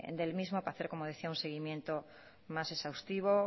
del mismo para hacer como decía un seguimiento más exhaustivo